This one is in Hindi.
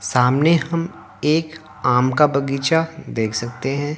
सामने हम एक आम का बगीचा देख सकते हैं।